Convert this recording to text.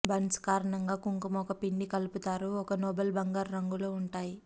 buns కారణంగా కుంకుమ ఒక పిండి కలుపుతారు ఒక నోబుల్ బంగారు రంగులో ఉంటాయి